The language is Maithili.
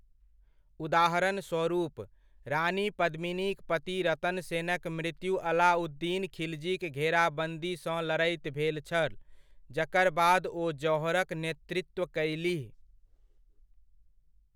उदाहरणस्वरुप, रानी पद्मिनीक पति रतन सेनक मृत्यु अलाउद्दीन खिलजीक घेराबन्दीसँ लड़ैत भेल छल, जकर बाद ओ जौहरक नेतृत्व कयलीह।